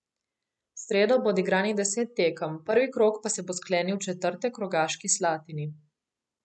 V sredo bo odigranih deset tekem, prvi krog pa se bo sklenil v četrtek v Rogaški Slatini.